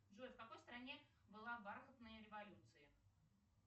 джой в какой стране была бархатная революция